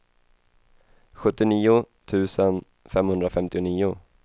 sjuttionio tusen femhundrafemtionio